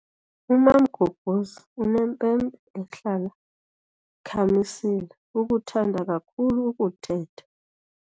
UMamgobhozi unempempe ehlala ikhamisile ukuthanda kakhulu ukuthetha.